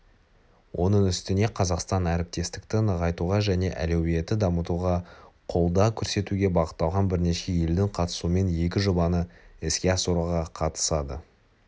оның үстіне қазақстан әріптестікті нығайтуға және әлеуетті дамытуға қолдау көрсетуге бағытталған бірнеше елдің қатысуымен екі жобаны іске асыруға қатысады